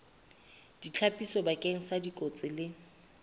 ditlhapiso bakeng sa dikotsi le